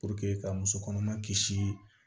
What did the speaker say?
ka muso kɔnɔma kisi